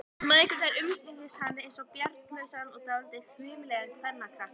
Mæðgurnar umgengust hann einsog bjargarlausan og dálítið hvimleiðan kenjakrakka.